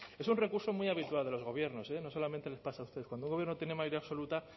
es un recurso muy habitual de los gobiernos eh no solamente les pasa a ustedes cuando un gobierno tiene mayoría absoluta